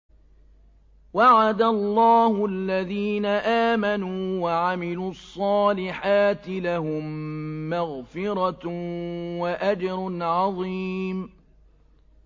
وَعَدَ اللَّهُ الَّذِينَ آمَنُوا وَعَمِلُوا الصَّالِحَاتِ ۙ لَهُم مَّغْفِرَةٌ وَأَجْرٌ عَظِيمٌ